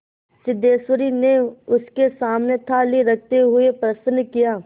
सिद्धेश्वरी ने उसके सामने थाली रखते हुए प्रश्न किया